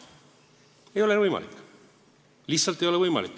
See ei ole võimalik, lihtsalt ei ole võimalik.